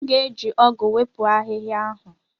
M ga-eji ọgụ wepụ ahịhịa ahụ.